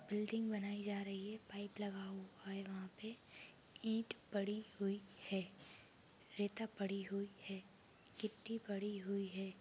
Building बनायी जा रही है पाइप लगा हुआ है वहाँ पे ईट पड़ी हुई है रेता पड़ी हुई है गिट्टी पड़ी हुई है।